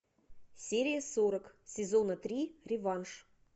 серия сорок сезона три реванш